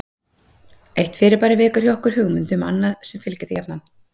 Eitt fyrirbæri vekur hjá okkur hugmynd um annað sem fylgir því jafnan.